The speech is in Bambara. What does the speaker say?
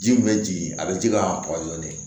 Ji min bɛ jigin a bɛ ji ka